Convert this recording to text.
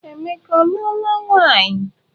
Emeka ọ luola nwaanyị?